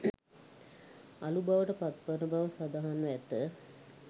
අළු බවට පත්වන බව සඳහන්ව ඇත